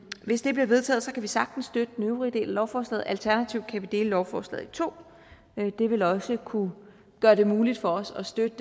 hvis det bliver vedtaget kan vi sagtens støtte den øvrige del af lovforslaget alternativt kan vi dele lovforslaget i to det vil også kunne gøre det muligt for os at støtte